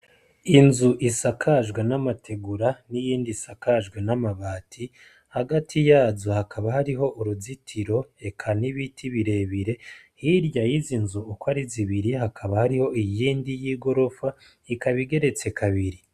Inzu isakajwe n'amategura n'iyindi isakajwe n'amabati hagati yazo hakaba hariho uruzitiro eka n'ibiti birebire hirya y'izi nzu uko ari zibiri hakaba hariho iyindi y'igorofa igeretse kabiri.